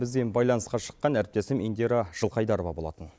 бізбен байланысқа шыққан әріптесім индира жылқайдарова болатын